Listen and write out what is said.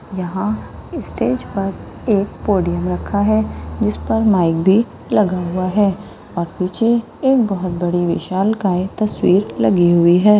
यहां स्टेज पर एक पोडियम रखा है इस पर माइक भी लगा हुआ है और पीछे एक बहुत बड़ी विशालकाय तस्वीर लगी हुई है।